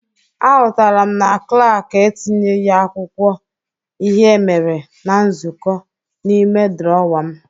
Ahụtara m na klak etinyeghi akwụkwọ ihe emere na nzụkọ n'ime drọwa m.